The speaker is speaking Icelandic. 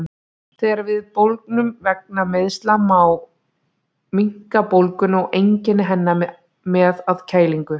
Þegar við bólgnum vegna meiðsla má minnka bólguna og einkenni hennar með að kælingu.